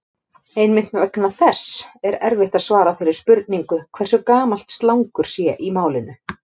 Einmitt vegna þess er erfitt að svara þeirri spurningu hversu gamalt slangur sé í málinu.